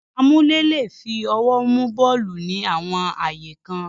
Amúlé le è fi ọwọ́ mú bọ́ọ̀lù ní àwọn ààyè kan.